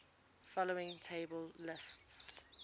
following table lists